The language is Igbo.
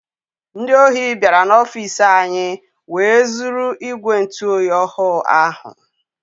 Ndị ọhi biara n'ofici anyị wee zụrụ ìgwè ntụ oyi ọhụụ ahụ.